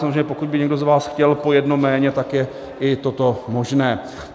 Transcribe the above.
Samozřejmě pokud by někdo z vás chtěl po jednom jméně, tak je i toto možné.